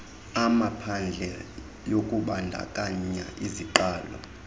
amaphadle yokubandakanya iziqalo